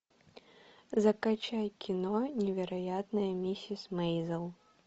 закачай кино невероятная миссис мейзел